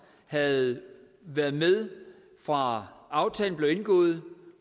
havde været med fra aftalen blev indgået